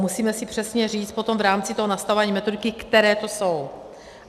Musíme si přesně říct potom v rámci toho nastavování metodiky, které to jsou.